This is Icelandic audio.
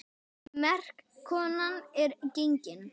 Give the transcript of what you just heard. Merk kona er gengin.